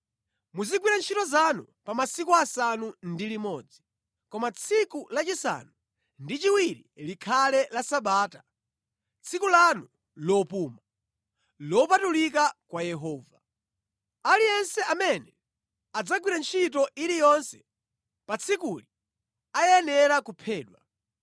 Muzigwira ntchito zanu pa masiku asanu ndi limodzi, koma tsiku la chisanu ndi chiwiri likhale la Sabata, tsiku lanu lopuma, lopatulika kwa Yehova. Aliyense amene adzagwira ntchito iliyonse pa tsikuli ayenera kuphedwa.